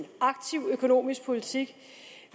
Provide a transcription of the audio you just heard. aktiv økonomisk politik